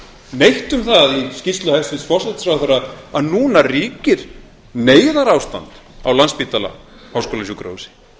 neitt um það í skýrslu hæstvirts forsætisráðherra að núna ríkir neyðarástand á landspítala háskólasjúkrahúsi